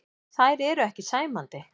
Þær eru ekki sæmandi.